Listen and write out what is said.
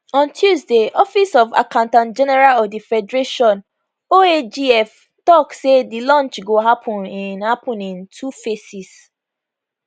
on tuesday office of accountantgeneral of di federation oagf tok say di launch go happun in happun in two phases